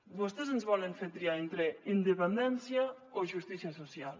vostès ens volen fer triar entre independència o justícia social